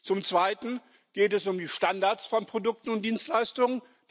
Zum Zweiten geht es um die Standards von Produkten und Dienstleistungen.